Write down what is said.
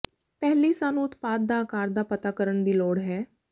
ਪਹਿਲੀ ਸਾਨੂੰ ਉਤਪਾਦ ਦਾ ਆਕਾਰ ਦਾ ਪਤਾ ਕਰਨ ਦੀ ਲੋੜ ਹੈ